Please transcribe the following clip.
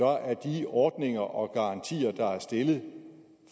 er de ordninger og garantier der er stillet